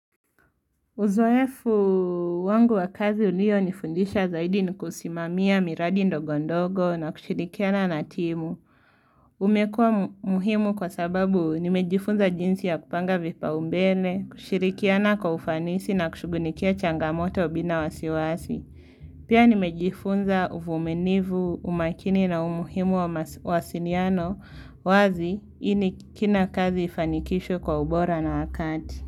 Uzoefu wangu wa kazi ulio nifundisha zaidi ni kusimamia miradi ndogo ndogo na kushirikiana na timu. Umekua muhimu kwa sababu nimejifunza jinsi ya kupanga vipaumbele, kushirikiana kwa ufanisi na kushugulikia changamoto bila wasiwasi. Pia nimejifunza uvuminivu, umakini na umuhimu wa mawasiniano wazi ini kina kazi ifanikishwe kwa ubora na wakati.